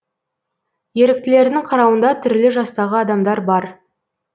еріктілердің қарауында түрлі жастағы адамдар бар